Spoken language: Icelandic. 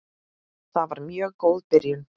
Það var mjög góð byrjun.